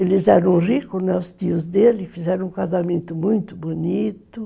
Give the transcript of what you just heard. Eles eram ricos, os tios dele, fizeram um casamento muito bonito.